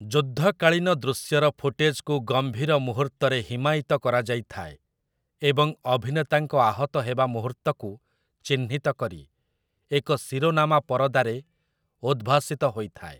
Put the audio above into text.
ଯୁଦ୍ଧକାଳୀନ ଦୃଶ୍ୟର ଫୁଟେଜ୍‌କୁ ଗମ୍ଭୀର ମୁହୂର୍ତ୍ତରେ ହିମାୟିତ କରାଯାଇଥାଏ, ଏବଂ ଅଭିନେତାଙ୍କ ଆହତ ହେବା ମୁହୂର୍ତ୍ତକୁ ଚିହ୍ନିତ କରି ଏକ ଶିରୋନାମା ପରଦାରେ ଉଦ୍ଭାସିତ ହୋଇଥାଏ ।